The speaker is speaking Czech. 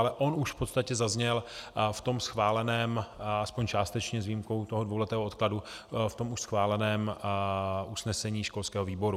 Ale on už v podstatě zazněl v tom schváleném, alespoň částečně, s výjimkou toho dvouletého odkladu, v tom už schváleném usnesení školského výboru.